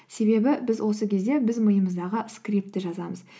себебі біз осы кезде біз миымыздаға скриптты жазамыз